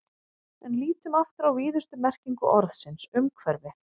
En lítum aftur á víðustu merkingu orðsins umhverfi.